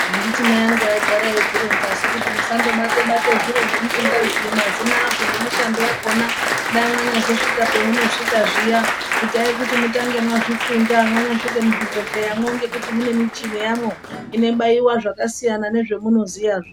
Handiti mai angu aigara eizvironzasu kuti musandobate-bate zviro zvamusingaziyi mazina azvo nemishando yakona. Dai manyazosvika zviya itai kuti mutange mazvifunda manyasvike muzvibhedhleyamwo ngekuti mune michini yamwo inobaiwa zvakasiyana nozvamunoziyazvo.